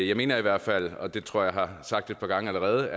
jeg mener i hvert fald og det tror jeg har sagt et par gange allerede